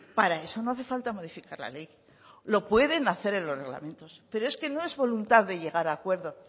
para eso no hace falta modificar la ley lo pueden hacer en los reglamentos pero es que no es voluntad de llegar a acuerdo